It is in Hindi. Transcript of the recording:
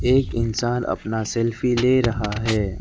एक इंसान अपना सेल्फी ले रहा है।